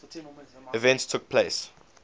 events took place